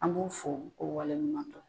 An b'u fo ko wale ɲuman dɔn